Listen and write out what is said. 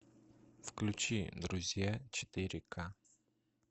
включи друзья четыре к